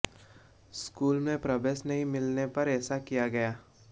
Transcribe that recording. school में प्रवेश नहीं मिलने पर ऐसा किया गया